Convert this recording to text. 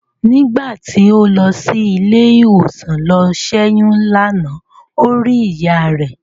Nígbà tí ó lọ sí ilé ìwòsàn lọ ṣẹ́yún lánàá ó rí ìyá rẹ̀.